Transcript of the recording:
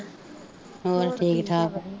ਹੋਰ ਠੀਕਠਾਕ